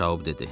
Şaoub dedi.